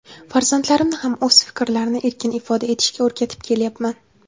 Farzandlarimni ham o‘z fikrlarini erkin ifoda etishga o‘rgatib kelyapman.